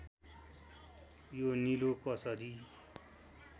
यो निलो कसरी